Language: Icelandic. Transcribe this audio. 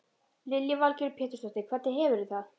Lillý Valgerður Pétursdóttir: Hvernig hefurðu það?